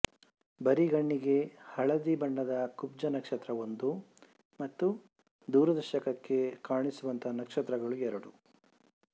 ಬರಿಗಣ್ಣಿಗೆ ಹಳದಿ ಬಣ್ಣದ ಕುಬ್ಜ ನಕ್ಷತ್ರ ಒಂದು ಮತ್ತು ದೂರದರ್ಶಕಕ್ಕೆ ಕಾಣಿಸುವಂತ ನಕ್ಷತ್ರಗಳು ಎರಡು